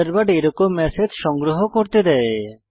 Thunderbird এরকম message সংগ্রহ করতে দেয়